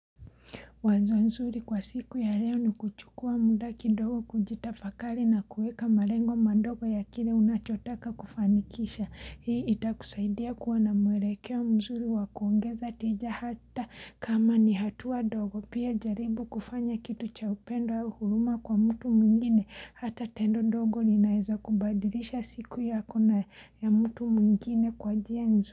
Mwanzo nzuri kwa siku ya leo ni kuchukua muda kidogo kujitafakali na kueka marengo mandogo ya kile unachotaka kufanikisha. Hii itakusaidia kuwa na mwelekeo mzuri wa kuongeza tija hata kama ni hatua dogo pia jaribu kufanya kitu cha upendo ya uhuruma kwa mtu mwingine hata tendo dogo ninaeza kubadilisha siku yako na ya mtu mwingine kwa njia hizo.